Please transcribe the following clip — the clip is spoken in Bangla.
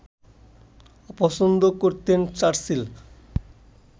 অপছন্দ করতেন চার্চিল